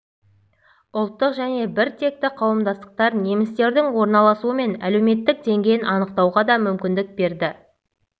ұлттық және діни біртекті қауымдастықтар немістердің орналасуы мен әлеуметтік деңгейін анықтауға да мүмкіндік берді